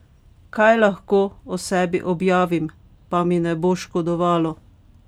Kaj lahko o sebi objavim, pa mi ne bo škodovalo?